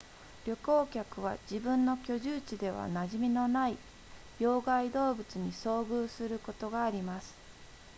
旅行客は自分の居住地では馴染みのない病害動物に遭遇することがあります